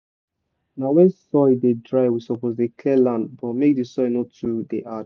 na when soil dey dry we suppose dey clear land for make the soil no too dey hard